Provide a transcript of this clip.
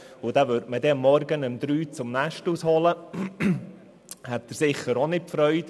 dieser hätte wohl auch nicht Freude, wenn man ihn morgens um 03.00 Uhr aus dem Bett holen würde.